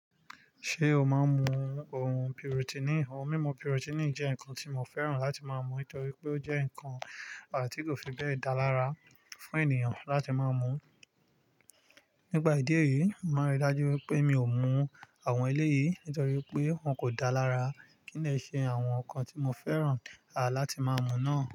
Ṣé o máa ń mu ohun pirutini? Òhun mímu pirutini jẹ́ ǹkan tí mo fẹ́ràn láti máa mú torí pé ó jẹ́ ǹkan àti kò fi bẹ́ẹ̀ dá lára fún ènìyàn láti máa mú. Nígbà ìdí èyí, mo rí i dájú wípé mi ò mú àwọn eléyìí nítorí pé wọ́n kò dáa lára. Kí nì ṣe àwọn ǹkan tí mo fẹ́ràn láti máa mú náà?